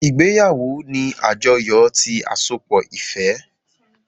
Ìgbéyàwó ni àjọyọ̀ ti àsopọ̀ ìfẹ́